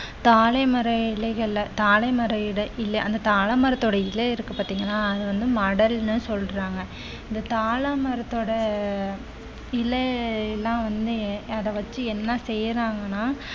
தாழை மர இலைகள்ல தாழை மர இடை~ இலை அந்த தாழமரத்தோட இலை இருக்கு பார்த்தீங்களா அது வந்து மடல்ன்னு சொல்றாங்க இந்த தாழ மரத்தோட இலை எல்லாம் வந்து அத வச்சு என்ன செய்யறாங்கன்னா